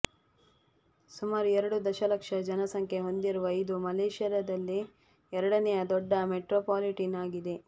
ಸುಮಾರು ಎರಡು ದಶಲಕ್ಷ ಜನಸಂಖ್ಯೆ ಹೊಂದಿರುವ ಇದು ಮಲೆಷ್ಯಾದಲ್ಲೇ ಎರಡನೆಯ ದೊಡ್ಡ ಮೆಟ್ರೊಪಾಲಿಟಿನ್ ಆಗಿದೆ